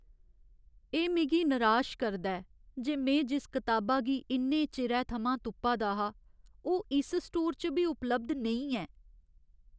एह् मिगी नराश करदा ऐ जे में जिस कताबा गी इन्ने चिरै थमां तुप्पा दा हा, ओह् इस स्टोर च बी उपलब्ध नेईं ऐ।